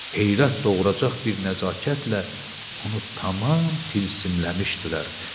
Heyrət doğuracaq bir nəzakətlə onu tamam tilsimləmişdilər.